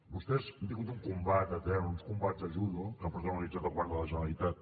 vostès han tingut un combat etern uns combats de judo que ha protagonitzat el govern de la generalitat